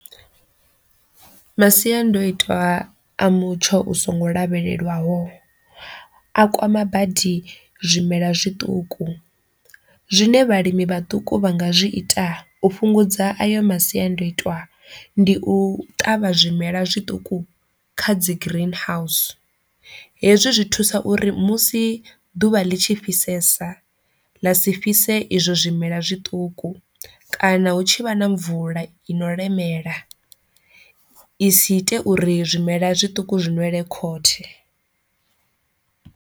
Masiandoitwa a mutsho u songo lavhelelwaho a kwama badi zwimela zwiṱuku, zwine vhalimi vhaṱuku vha nga zwi ita u fhungudza ayo masiandoitwa ndi u ṱavha zwimela zwiṱuku kha dzi green house, hezwi zwi thusa uri musi ḓuvha ḽi tshi fhisesa ḽa si fhise izwo zwimela zwiṱuku kana hu tshi vha na mvula i no lemela i si ite uri zwimela zwituku zwi ṅwele khothe.